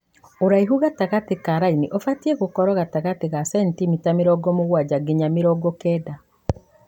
ũraihu gatagatĩ ka raini ũbatie gũkorwo gatagatĩ ga centimita mĩrongo mũgwanja nginya mĩrongo kenda.